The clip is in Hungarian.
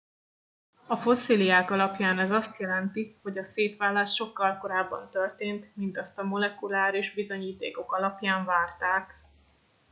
a fosszíliák alapján ez azt jelenti hogy a szétválás sokkal korábban történt mint azt a molekuláris bizonyítékok alapján várták